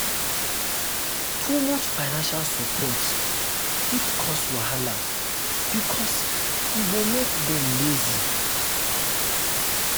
too much financial support fit cause wahala because e go make dem lazy.